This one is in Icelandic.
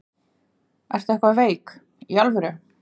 Ertu eitthvað veik. í alvöru?